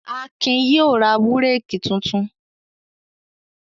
Akin yóò ra búrékì tuntun.